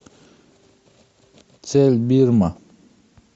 цель бирма